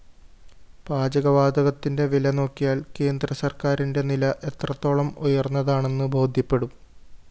പാചകവാതകത്തിന്റെ വില നോക്കിയാല്‍ കേന്ദ്രസര്‍ക്കാരിന്റെ നില എത്രത്തോളം ഉയര്‍ന്നതാണെന്ന്‌ ബോധ്യപ്പെടും